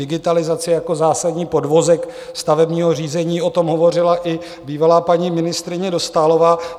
Digitalizace jako zásadní podvozek stavebního řízení, o tom hovořila i bývalá paní ministryně Dostálová.